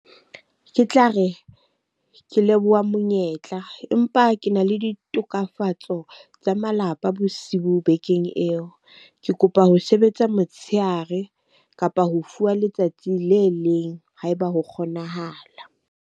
Ke tla re, ke leboha monyetla. Empa ke na le ditokafatso ho tsa malapa bosiu bekeng eo. Ke kopa ho sebetsa motshehare kapa ho fuwa letsatsi le leng ha e ba ho kgonahala.